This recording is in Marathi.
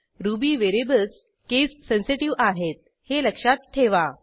रुबी व्हेरिएबल्स केस सेन्सेटिव्ह आहेत हे लक्षात ठेवा